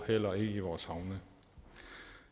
eller i vores havne